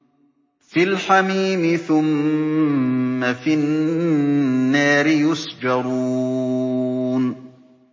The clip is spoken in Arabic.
فِي الْحَمِيمِ ثُمَّ فِي النَّارِ يُسْجَرُونَ